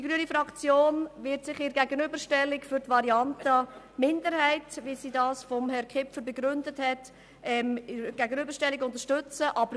Die grüne Fraktion wird bei der Gegenüberstellung die Variante der FiKo-Minderheit unterstützen, wie sie der Sprecher der FiKo-Minderheit vertreten und begründet hat.